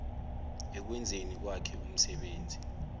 ekwenzeni kwakhe umsebenzi